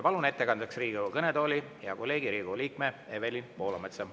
Palun ettekandeks Riigikogu kõnetooli hea kolleegi, Riigikogu liikme Evelin Poolametsa.